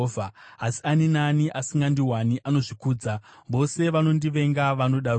Asi ani naani asingandiwani anozvikuvadza; vose vanondivenga vanoda rufu.”